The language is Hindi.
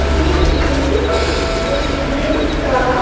ये एक रेस्टोरेंट का--